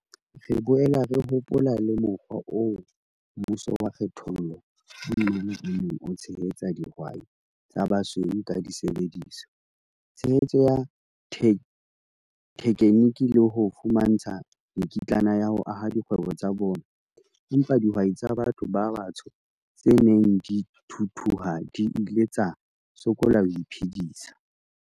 "Re boela re hopola le mokgwa oo mmuso wa kgethollo ka mmala o neng o tshehetsa dihwai tsa ba basweu ka disebediswa, tshehetso ya thekheniki le ho fumantshwa mekitlana ya ho aha dikgwebo tsa bona, empa dihwai tsa batho ba batsho tse neng di thuthuha di ile tsa sokola ho iphedisa."